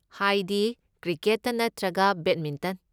ꯍꯥꯏꯗꯤ ꯀ꯭ꯔꯤꯀꯦꯠꯇ ꯅꯠꯇ꯭ꯔꯒ ꯕꯦꯗꯃꯤꯟꯇꯟ꯫